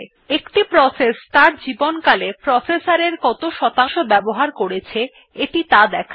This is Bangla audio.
একটি প্রসেস ত়ার জীবনকালে প্রসেসর এর কত শতাংশ বাবহার করেছে এটি ত়া দেখায়